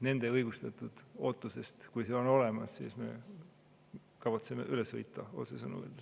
Nende õigustatud ootusest, kui see on olemas, me kavatseme üle sõita, kui otsesõnu öelda.